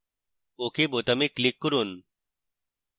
ok বোতামে click করুন